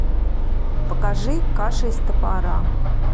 покажи каша из топора